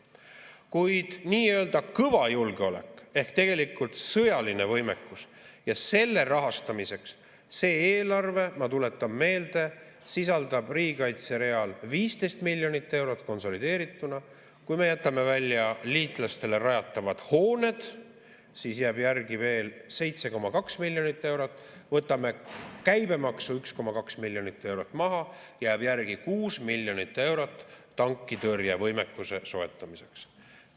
Kuid nii-öelda kõva julgeolek ehk tegelikult sõjaline võimekus ja selle rahastamiseks see eelarve, ma tuletan meelde, sisaldab riigikaitse real 15 miljonit eurot konsolideerituna, kui me jätame välja liitlastele rajatavad hooned, siis jääb järele veel 7,2 miljonit eurot, võtame käibemaksu 1,2 miljonit eurot maha, jääb järele 6 miljonit eurot tankitõrjevõimekuse soetamiseks.